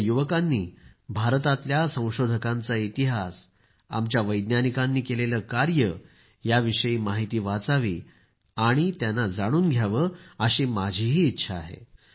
आपल्या युवकांनी भारतातल्या संशोधकांचा इतिहास आमच्या वैज्ञानिकांनी केलेलं कार्य याविषयी माहिती वाचावी आणि त्यांना जाणून घ्यावं अशी माझीही इच्छा आहे